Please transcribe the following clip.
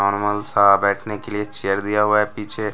Normal सा बैठने के लिए चेयर दिया हुआ है पीछे।